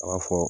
A b'a fɔ